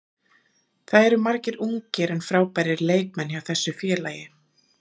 Það eru margir ungir en frábærir leikmenn hjá þessu félagi.